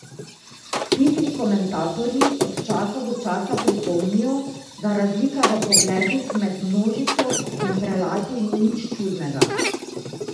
Pikri komentatorji od časa do časa pripomnijo, da razlika v pogledih med množico in prelati ni nič čudnega.